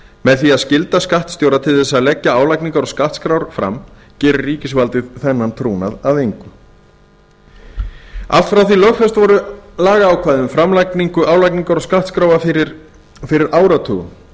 með því að skylda skattstjóra til að leggja álagningar og skattskrár fram gerir ríkisvaldið þennan trúnað að engu allt frá því að lögfest voru lagaákvæði um framlagningu álagningar og skattskráa fyrir áratugum